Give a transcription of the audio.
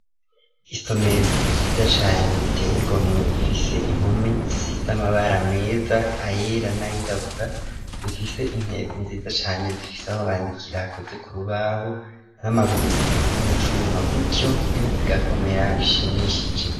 Isomero ryiza cane riteye igomwe rifise impome zisize amabara meza ayera n'ayirabura rifise intebe nziza cane zifise aho bandikira hakoze ku rubaho n'amaguru akoze mu cuma gutyo intebe zigakomera bishimishije.